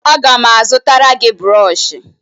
Aga m azụtara gị brọọshị